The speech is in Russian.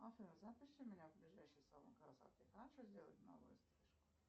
афина запиши меня в ближайший салон красоты хочу сделать новую стрижку